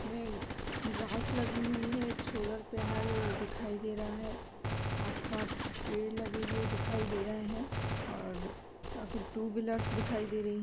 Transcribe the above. इसमें ग्रास लगी हुई है एक सोलर पैनल दिखाई दे रहा है। आस-पास पेड़ लगे हुए दिखाई दे रहे हैं और टू व्हिल्लर्स दिखाई दे रही --